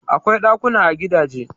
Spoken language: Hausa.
Akwai ɗakuna a gidaje.